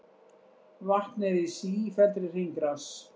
Vatn er í sífelldri hringrás.